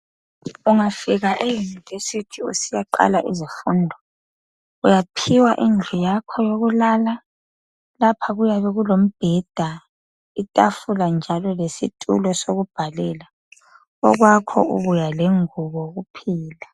Ungafika e'University ' usiyaqala izifundo uyaphiwa indlu yakho yokulala, lapha kuyabe kulombheda, itafula njalo lesitulo sokubhalela, okwakho ubuya lengubo kuphela.